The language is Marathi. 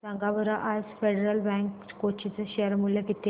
सांगा बरं आज फेडरल बँक कोची चे शेअर चे मूल्य किती आहे